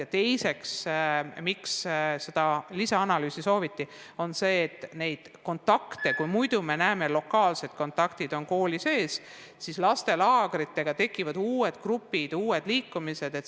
Aga põhjus, miks seda lisaanalüüsi sooviti, on see, et muidu on lastel lokaalsed kontaktid koolis, ent laagrites tekivad uued grupid, uued liikumised.